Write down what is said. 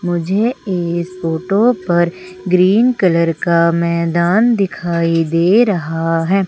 मुझे इस फोटो पर ग्रीन कलर का मैदान दिखाई दे रहा है।